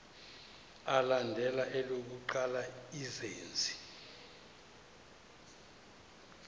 alandela elokuqala izenzi